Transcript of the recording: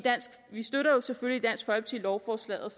selvfølgelig lovforslaget